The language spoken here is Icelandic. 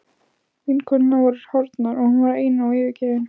Vinkonurnar voru horfnar og hún var ein og yfirgefin.